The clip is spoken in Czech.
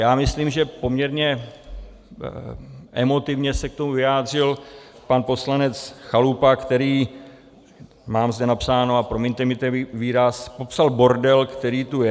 Já myslím, že poměrně emotivně se k tomu vyjádřil pan poslanec Chalupa, který, mám zde napsáno, a promiňte mi ten výraz, popsal bordel, který tu je.